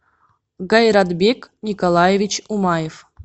гайратбек николаевич умаев